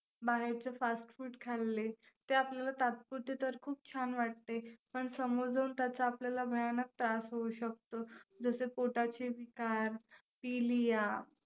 बाहेरचं fast food खाल्ले ते आपल्याला तात्पुरते तर खुप छान वाटते पण समोर जाऊन त्याचा आपल्याला भयानक त्रास होऊ शकतो, जसं पोटाचे विकार,